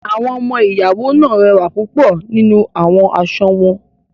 Awọn ọmọ-iyawo naa rẹwa pupọ ninu awọn aṣọ wọn.